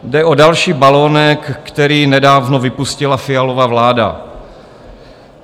Jde o další balonek, který nedávno vypustila Fialova vláda.